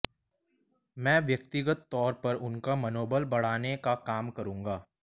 मैं व्यक्तिगत तौर पर उनका मनोबल बढ़ाने का काम करूंगा